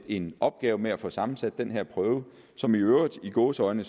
en opgave med at få sammensat den her prøve som i øvrigt i gåseøjne